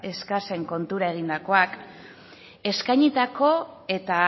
eskasen kontura egindakoak eskainitako eta